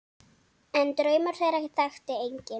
En draum þeirra þekkti enginn.